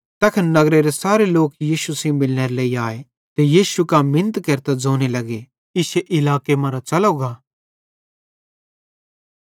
तैस नगरेरे सारे लोक यीशु सेइं मिलनेरे लेइ आए ते यीशु लेइतां लोक मिनत केरतां ज़ोने लग्गे इश्शे इलाके मरां च़लो गा